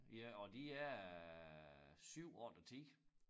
Ja og de er 7 8 og 10